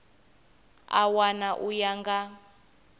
a wana u ya nga